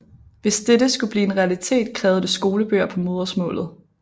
Hvis dette skulle blive en realitet krævede det skolebøger på modersmålet